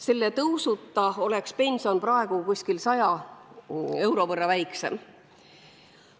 Selle tõusuta oleks pension praegu umbes 100 euro võrra väiksem.